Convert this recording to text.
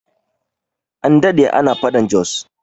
An daɗe ana faɗan Jos